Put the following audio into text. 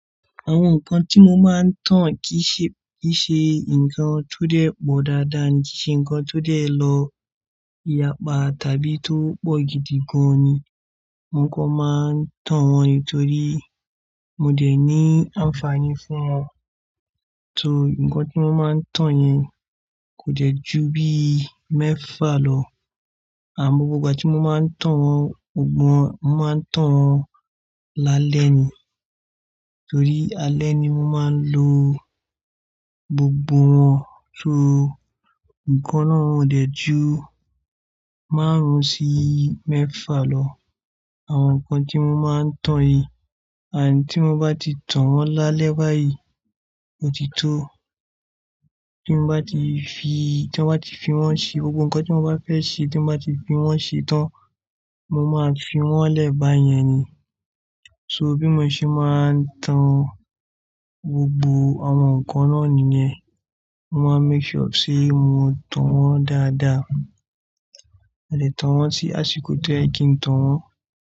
Àwọn nǹkan tí mo máa ń tán kì í ṣe, kì í ṣe nǹkan tó dẹ́ pọ̀ dáadáa ni, kì í ṣe nǹkan tó dẹ́ lọ ìyapa tàbí tó pọ̀ gidi gan ni. Nǹkan máa ń tán wọn nítorí mo dẹ̀ ní ànfààní fún wọn. Tó nǹkan tí mo máa ń tán yẹn kò jẹ́ ju bí mẹ́fà lọ. Àmọ́, gbogbo ìgbà tí mo máa ń tán wọn, gbogbo wọn, mo máa ń tán wọn lálẹ́ ni. Torí alẹ́ ni mo máa ń lo gbogbo wọn. Tó nǹkan náà ò dẹ́ ju márùn-ún sí mẹ́fà lọ. Àwọn nǹkan tí mo máa ń tán yìí, àní tí mo bá ti tán wọn lálẹ́ báyìí, ó ti tó. Tí mo bá ti fi, tí wọ́n bá ti fi wọ́n ṣe, gbogbo nǹkan tí mo bá fẹ́ ṣe tí wọ́n bá ti fi wọ́n ṣe tán, mo máa fi wọ́n lẹ̀ bàá yẹn ni. So bí mo ṣe máa ń tán gbogbo àwọn nǹkan náà nìyẹn. Mo máa make sure sí mo tán wọn dáadáa. A lè tán wọn sí àsìkò tí óyẹ kì ń tán wọn.